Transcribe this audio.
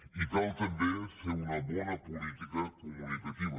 i cal fer una bona política comunicativa